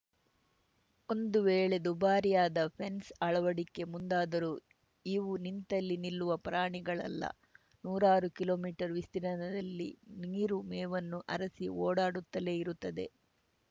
ಒಂದು ವೇಳೆ ದುಬಾರಿಯಾದ ಫೆನ್ಸ್‌ ಅಳವಡಿಕೆ ಮುಂದಾದರೂ ಇವು ನಿಂತಲ್ಲಿ ನಿಲ್ಲುವ ಪ್ರಾಣಿಗಳಲ್ಲ ನೂರಾರು ಕಿಲೋಮೀಟರ್‌ ವಿಸ್ತೀರ್ಣದಲ್ಲಿ ನೀರು ಮೇವನ್ನು ಅರಸಿ ಓಡಾಡುತ್ತಲೇ ಇರುತ್ತವೆ